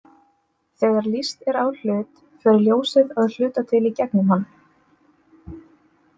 Þegar lýst er á hlut fer ljósið að hluta til í gegnum hann.